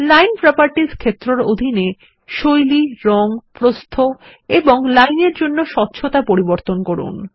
line properties ক্ষেত্র এর অধীনে শৈলী রঙ প্রস্থ এবং লাইন এর জন্য স্বচ্ছতা পরিবর্তন করুন